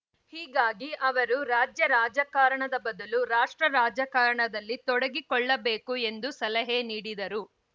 ಹೀಗಾಗಿ ಅವರು ರಾಜ್ಯ ರಾಜಕಾರಣದ ಬದಲು ರಾಷ್ಟ್ರ ರಾಜಕಾರಣದಲ್ಲಿ ತೊಡಗಿಕೊಳ್ಳಬೇಕು ಎಂದು ಸಲಹೆ ನೀಡಿದರು